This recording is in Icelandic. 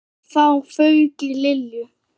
Og þá fauk í Lilju.